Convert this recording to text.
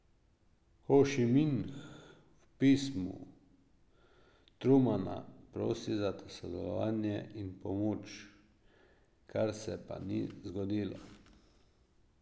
Hošiminh v pismu Trumana prosi za sodelovanje in pomoč, kar se pa ni zgodilo.